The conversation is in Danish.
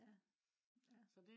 ja ja